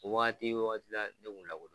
U waati waati la kun lakodɔn